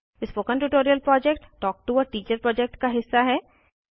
spoken tutorial project talk to a teacher project का हिस्सा है